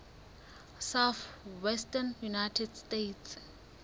southwestern united states